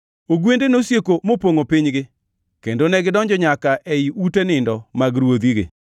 Ogwende nosieko mopongʼo pinygi, kendo negidonjo nyaka ei ute nindo mag ruodhigi.